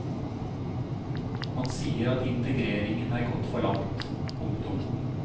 Han sier at integreringen er gått for langt. punktum